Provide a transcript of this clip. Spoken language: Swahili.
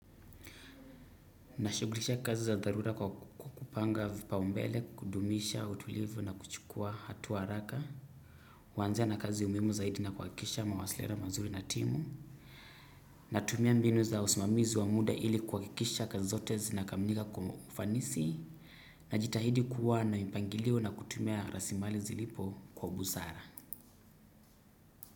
Nashugulisha kazi za dharura kwa kupanga vipau mbele, kudumisha, utulivu na kuchukua hatuwa haraka. Kwanzia na kazi umuimu zaidi na kwakisha mawasiliano mazuri na timu. Natumia mbinu za usimamizi wa muda ili kwakisha kazi zote zinakamanika kwa ufanisi. Najitahidi kuwa na mpangilio na kutumia rasimali zilipo kwa busara.